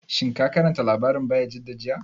Shin ka karanta labarin Bayajidda jiya?